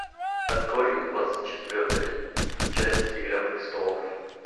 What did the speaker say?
открой двадцать четвертая часть игра престолов